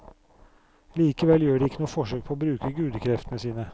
Likevel gjør de ikke noe forsøk på å bruke gudekreftene sine.